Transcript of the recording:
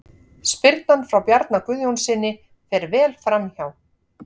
Spyrnan frá Bjarna Guðjónssyni fer vel framhjá.